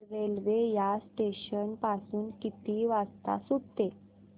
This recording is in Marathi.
रेल्वे या स्टेशन पासून किती वाजता सुटते